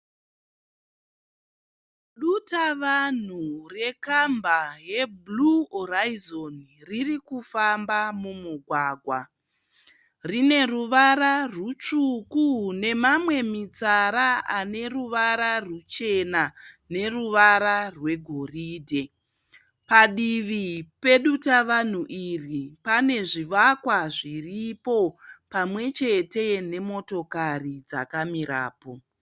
Dutavanhu rekamba yeBlue Horizon riri kufamba mumugwagwa rine ruvara rutsvuku nemamwe mitsara ane ruvara rwuchena neruvara rwegoridhe. Padivi pedutavanhu iri pane zvivakwa zviripo pamwe chete nemotokari dzakamirapo.